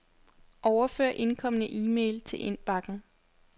Overfør indkomne e-mail til indbakken.